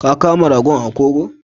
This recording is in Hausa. Ka Kama ragon a koho?